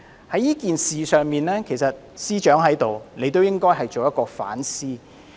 在這件事上，政務司司長也應該作出反思。